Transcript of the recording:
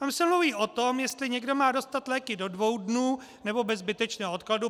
Tam se mluví o tom, jestli někdo má dostat léky do dvou dnů, nebo bez zbytečného odkladu.